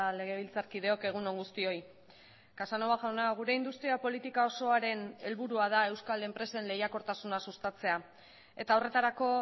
legebiltzarkideok egun on guztioi casanova jauna gure industria politika osoaren helburua da euskal enpresen lehiakortasuna sustatzea eta horretarako